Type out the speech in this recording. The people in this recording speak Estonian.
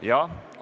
Jah.